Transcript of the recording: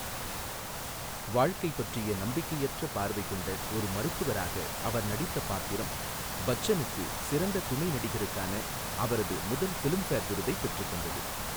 வாழ்க்கை பற்றிய நம்பிக்கையற்ற பார்வை கொண்ட ஒரு மருத்துவராக அவர் நடித்த பாத்திரம் பச்சனுக்கு சிறந்த துணை நடிகருக்கான அவரது முதல் ஃபிலிம்ஃபேர் விருதைப் பெற்றுத் தந்தது.